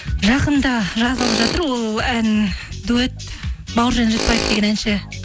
жақында жазылып жатыр ол ән дуэт бауыржан ретпаев деген әнші